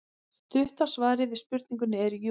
Stutta svarið við spurningunni er jú.